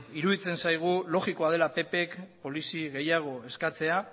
iruditzen zaigu logikoa dela pp k polizia gehiago eskatzea